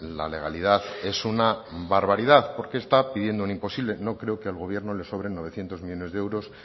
la legalidad es una barbaridad porque está pidiendo un imposible no creo que al gobierno le sobren novecientos millónes de euros